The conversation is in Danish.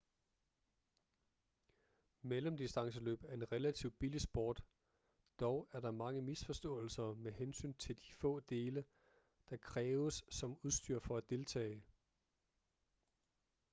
mellemdistanceløb er en relativt billig sport dog er der mange misforståelser med hensyn til de få dele der kræves som udstyr for at deltage